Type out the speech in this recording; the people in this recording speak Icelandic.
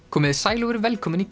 komiði sæl og verið velkomin í